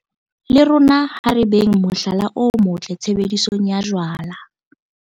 Le rona ha re beng mohlala o motle tshebedisong ya jwala.